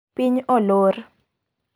Piny olor.